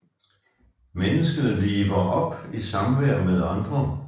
Mennesket liver op i samvær med andre